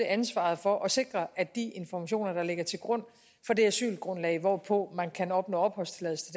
ansvaret for at sikre at de informationer der ligger til grund for det asylgrundlag hvorpå man kan opnå opholdstilladelse